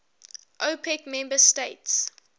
opec member states